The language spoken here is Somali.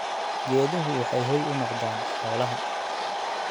Geeduhu waxay hoy u noqdaan xoolaha.